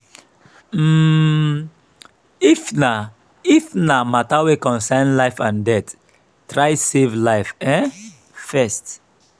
um if na if na mata wey concern life and death try save life um first